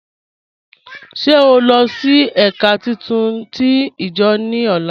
Ṣé ọ nlọ sí èká títún tí ijo ni ọlá?